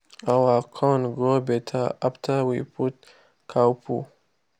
our corn grow better after we put cow poo.